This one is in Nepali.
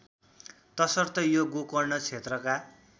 तसर्थ यो गोकर्ण क्षेत्रका